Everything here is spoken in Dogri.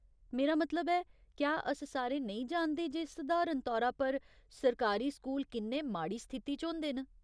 मेरा मतलब ऐ, क्या अस सारे नेईं जानदे जे सधारण तौरा पर सरकारी स्कूल किन्ने माड़ी स्थिति च होंदे न ?